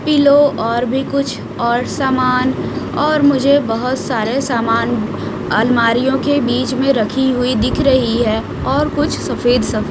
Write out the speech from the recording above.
pillow और भी कुछ और सामान और मुझे बहोत सारे सामान अलमारियों के बीच में रखी हुई दिख रही है और कुछ सफेद सफेद --